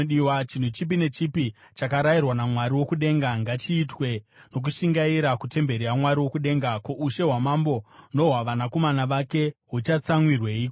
Chinhu chipi nechipi chakarayirwa naMwari wokudenga, ngachiitwe nokushingaira kutemberi yaMwari wokudenga. Ko, ushe hwamambo nohwavanakomana vake huchatsamwireiko?